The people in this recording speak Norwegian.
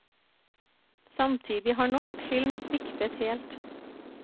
Samtidig har norsk film sviktet helt.